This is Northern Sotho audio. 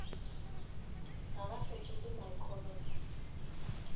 ga ba fetole my comments